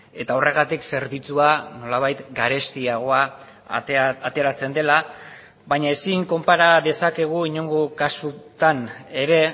eta horregatik zerbitzua nolabait garestiagoa ateratzen dela baina ezin konpara dezakegu inongo kasutan ere